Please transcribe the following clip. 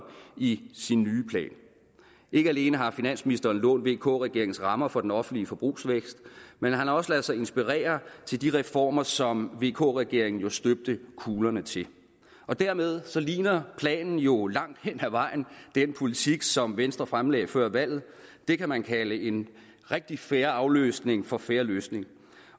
i sin nye plan ikke alene har finansministeren lånt vk regeringens rammer for den offentlige forbrugsvækst men han har også ladet sig inspirere til de reformer som vk regeringen jo støbte kuglerne til dermed ligner planen jo langt hen ad vejen den politik som venstre fremlagde før valget det kan man kalde en rigtig fair afløsning for en fair løsning